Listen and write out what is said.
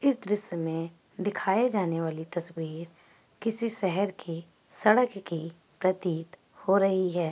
इस दृश्य मे दिखाए जाने वाली तस्वीर किसी शहर की सड़क की प्रतीत हो रही है।